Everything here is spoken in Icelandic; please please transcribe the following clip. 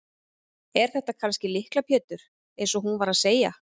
Er þetta kannski Lykla Pétur eins og hún var að segja?